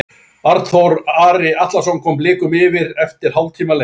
Arnþór Ari Atlason kom Blikum yfir eftir hálftíma leik.